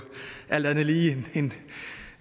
alt andet lige